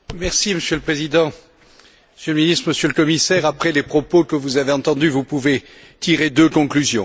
Monsieur le Président, Monsieur le Ministre, Monsieur le Commissaire, après les propos que vous avez entendus, vous pouvez tirer deux conclusions.